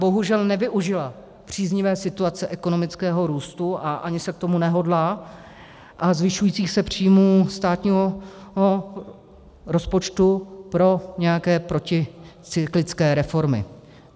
Bohužel nevyužila příznivé situace ekonomického růstu, a ani se k tomu nehodlá, a zvyšujících se příjmů státního rozpočtu pro nějaké proticyklické reformy.